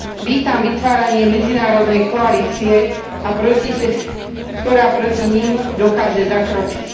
Vítam vytváranie medzinárodnej koalície, ktorá proti nim dokáže zakročiť.